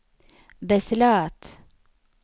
beslöt